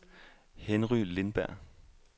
Henry Lindberg